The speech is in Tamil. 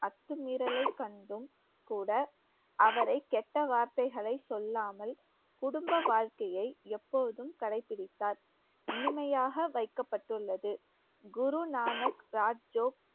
அத்துமீறலை கண்டும் கூட அவரை கெட்ட வார்த்தைகளை சொல்லாமல் குடும்ப வாழ்க்கையை எப்போதும் கடைபிடித்தார் இனிமையாக வைக்கப்பட்டுள்ளது குருநானக் ராஜோக்